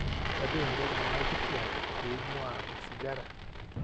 tadou eniko iltung'anak kitwaak pee eing'waa osigara